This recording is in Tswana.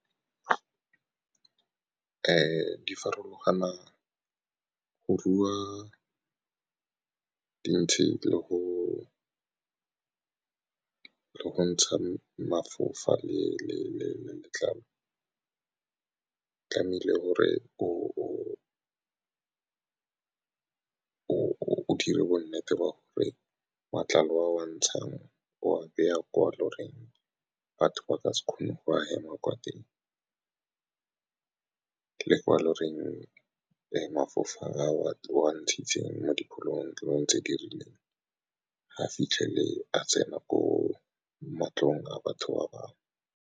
Di farologana go rua dintšhe le go ntsha mafofa le letlalo, tlamehile gore o dire bo nnete ba gore matlalo wa ntshang o beya kwalo lo reng batho ba ka se kgone go hema kwa teng le ko lo reng le mafofa a wa ntshitseng mo diphologolong tse di rileng, ga fitlhele a tsena ko matlong a batho ba bangwe.